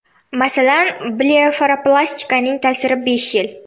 Masalan, blefaroplastikaning ta’siri besh yil.